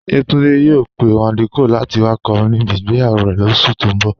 Yétúndé yòò pẹ̀ Wándé Cóàl láti wà kọ́rìn níbí ìgbéyàwó rè lóṣù tó n bọ̀.